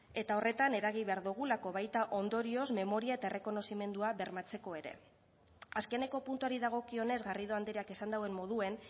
eta horretan eragin behar dugulako baita ondorioz memoria eta errekonozimendua bermatzeko ere azkeneko puntuari dagokionez garrido andreak esan duen moduan